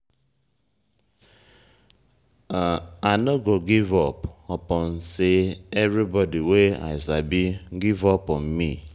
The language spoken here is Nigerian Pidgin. i no give up upon sey everybodi wey i sabo give up on me.